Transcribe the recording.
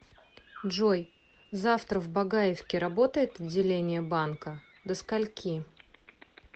джой завтра в багаевке работает отделение банкадо скольки